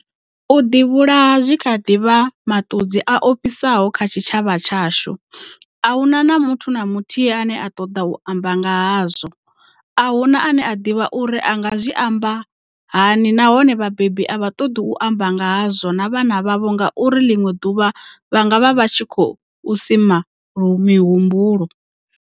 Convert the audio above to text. U ḓivhulaha zwi kha ḓi vha maṱudzi a ofhisaho kha tshitshavha tshashu, ahuna muthu na muthihi ane a ṱoḓa u amba nga hazwo, ahuna ane a ḓivha uri a nga zwi amba hani nahone vhabebi a vha ṱoḓi u amba nga ha zwo na vhana vhavho nga uri ḽiṅwe ḓuvha vha nga vha vha tshi khou sima mihumbulo.